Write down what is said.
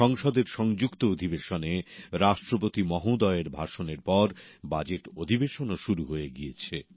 সংসদের সংযুক্ত অধিবেশনে রাষ্ট্রপতি মহোদয়ের ভাষণের পর বাজেট অধিবেশনও শুরু হয়ে গিয়েছে